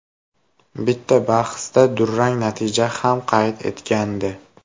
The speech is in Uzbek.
Bitta bahsda durang natija ham qayd etgandi.